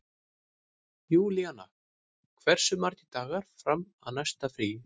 Júlíanna, hversu margir dagar fram að næsta fríi?